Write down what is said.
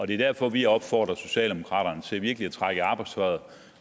det er derfor at vi opfordrer socialdemokraterne til virkelig at trække i arbejdstøjet